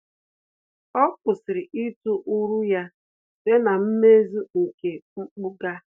Ọ́ kwụ́sị̀rị̀ ítụ́ uru ya site na mmezu nke mpụga.